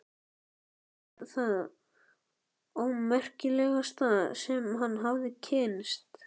Hún var það ómerkilegasta sem hann hafði kynnst.